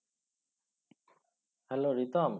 hello Ritam